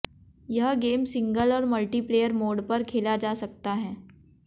यह game single और multiplayer mode पर खेला जा सकता है